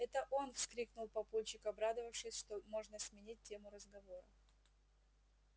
это он вскрикнул папульчик обрадовавшись что можно сменить тему разговора